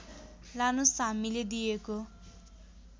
लानोस् हामीले दिएको